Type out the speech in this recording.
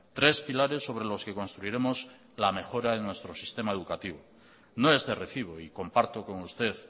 tres pilares sobre los que construiremos la mejora en nuestro sistema educativo no es de recibo y comparto con usted